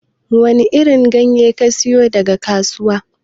Wani irin ganye kasiyo daga kasuwa?